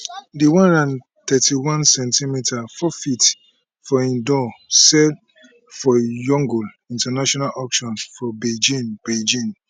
di one hundred and thirty one cm four ft for in doll sell for yongle international auction for beijing beijing